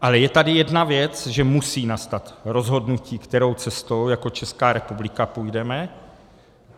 Ale je tady jedna věc, že musí nastat rozhodnutí, kterou cestou jako Česká republika půjdeme.